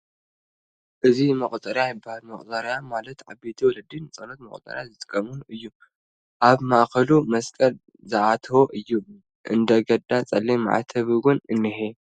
እዚ መቑፀርያ ይበሃል መቑፀርያ ማለት ዓበይቲ ወለዲ ንፆሎት መቑፀሪ ዝጥቐሙሉ እዩ ፡ ኣብ ማእኽሉ መስቐል ዝኣተዎ እዩ ፡ እንደገዳ ፀሊም ማዕተብ''ውን እንሄ ።